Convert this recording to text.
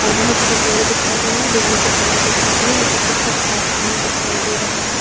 और बहुत सारे पेड़ दिखाई दे रहे है। बिजली के खंभे दिखाई दे रहे है। ऊपर की तरफ आसमान दिखाई दे रहा है।